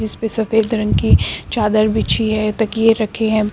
इस पे सफेद रंग की चादर बिछी है तकिये रखें हैं।